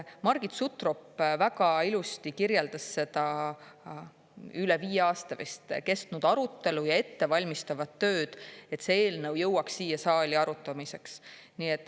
Margit Sutrop väga ilusti kirjeldas seda üle viie aasta kestnud arutelu ja ettevalmistavat tööd, et see eelnõu jõuaks siia saali arutamiseks.